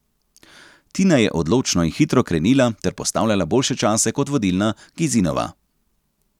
Tina je odločno in hitro krenila ter postavljala boljše čase kot vodilna Gisinova.